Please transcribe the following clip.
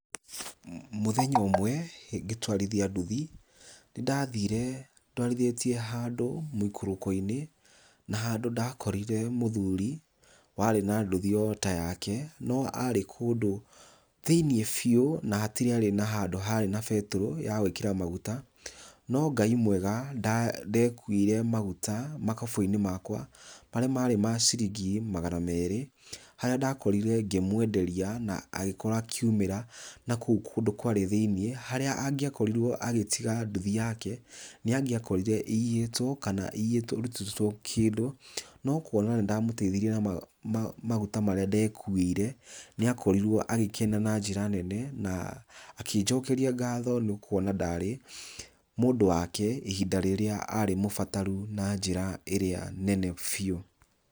Mũthenya ũmwe ngĩtwarithia nduthi nĩ ndathire ndwarithĩtie handũ mũikũrũko-inĩ, na handũ ndakorire mũthuri warĩ na nduthi o ta yake, no arĩ kũndu thĩiniĩ biũ na hatiarĩ handũ harĩ na betũrũ ya gũĩkĩra maguta. No Ngai mwega ndekuĩire maguta ma kabũyũ-ini makwa marĩa marĩ ma ciringi magana merĩ, harĩa ndakorire ngĩmũenderia na agĩkorwo akiumĩra na kũu kũndũ kwarĩ thĩiniĩ. Harĩa angĩakorirwo agĩtiga nduthi yake nĩ angĩakorire ĩiyĩtwo kana ĩrutĩtwo indo, no kuona nĩ ndamũteithirie na maguta marĩa ndekuĩire, nĩ akorirwo agĩkena na njĩra nene na akĩnjokeria ngatho, nĩ kuona ndarĩ mũndũ wake ihinda rĩrĩa arĩ mũbataru na njĩra nene biũ.